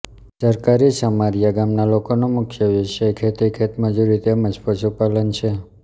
સરકારી ચમારીયા ગામના લોકોનો મુખ્ય વ્યવસાય ખેતી ખેતમજૂરી તેમ જ પશુપાલન છે